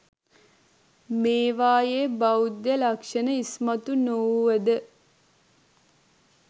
මේවායේ බෞද්ධ ලක්ෂණ ඉස්මතු නොවුව ද